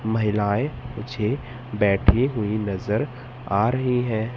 महिलाएं मुझे बैठे हुए नजर आ रही हैं।